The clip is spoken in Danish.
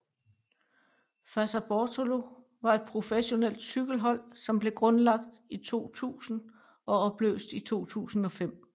Fassa Bortolo var et professionelt cykelhold som blev grundlagt i 2000 og opløst i 2005